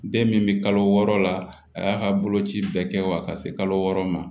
Den min bɛ kalo wɔɔrɔ la a y'a ka boloci bɛɛ kɛ wa ka se kalo wɔɔrɔ ma